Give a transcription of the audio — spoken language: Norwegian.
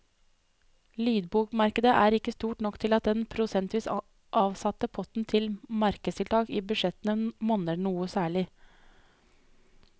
Lydbokmarkedet er ikke stort nok til at den prosentvis avsatte potten til markedstiltak i budsjettene monner noe særlig.